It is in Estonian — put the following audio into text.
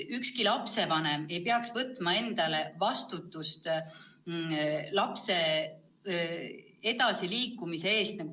Ükski lapsevanem ei peaks võtma endale täies mahus vastutust lapse edasiliikumise eest.